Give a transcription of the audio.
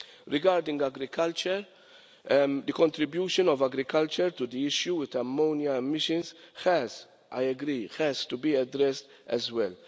Regarding agriculture, the contribution of agriculture to the issue of ammonia emissions has, I agree, to be addressed as well.